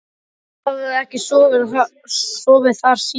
Hann hafði ekki sofið þar síðan.